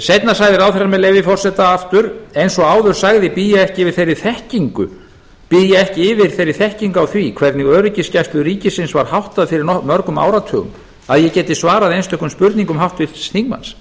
seinna sagði ráðherra aftur með leyfi forseta eins og áður sagði bý ég ekki yfir þeirri þekkingu á því hvernig öryggisgæslu ríkisins var háttað fyrir mörgum áratugum að ég geti svarað einstökum spurningum háttvirts þingmanns